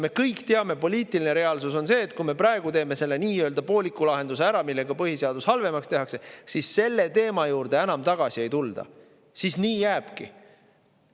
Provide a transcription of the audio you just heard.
Me kõik teame, poliitiline reaalsus on see, et kui me praegu teeme ära selle nii-öelda pooliku lahenduse, millega põhiseadus halvemaks tehakse, siis selle teema juurde enam tagasi ei tulda, siis nii jääbki.